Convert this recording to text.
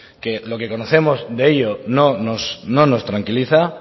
que lo que conocemos de ello no nos tranquiliza